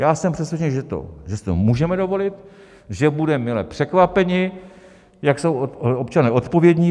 Já jsem přesvědčen, že si to můžeme dovolit, že budeme mile překvapeni, jak jsou občané odpovědní.